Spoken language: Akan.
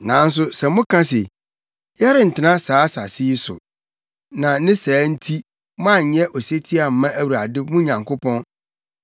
“Nanso sɛ moka se, ‘Yɛrentena saa asase yi so,’ na ne saa nti moanyɛ osetie amma Awurade mo Nyankopɔn,